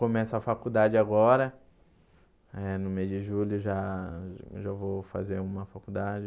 Começo a faculdade agora, eh no mês de julho já já vou fazer uma faculdade.